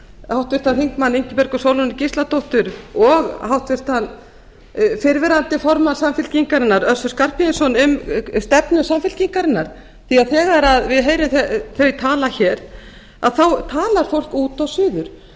háttvirtur þingmaður ingibjörgu sólrúnu gísladóttur og háttvirtur fyrrverandi formann samfylkingarinnar össur skarphéðinsson um stefnu samfylkingarinnar því að þegar við heyrum þau tala hér þá talar fólk út og suður